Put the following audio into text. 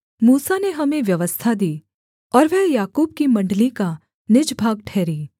मूसा ने हमें व्यवस्था दी और वह याकूब की मण्डली का निज भाग ठहरी